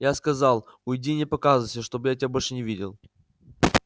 я сказал уйди и не показывайся чтобы я тебя больше не видел